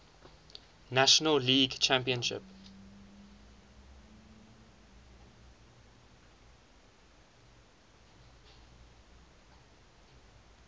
national league championship